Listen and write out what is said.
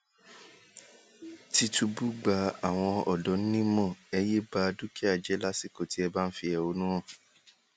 tìtúbù gba àwọn ọdọ nímọ ẹ yéé bá dúkìá jẹ lásìkò tẹ ẹ bá ń fẹhónú hàn